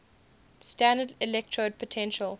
standard electrode potential